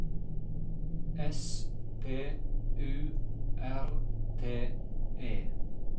S P U R T E